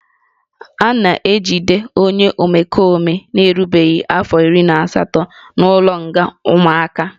A na-ejide onye omekome na-erubeghị afọ iri na asatọ n'ụlọnga ụmụaka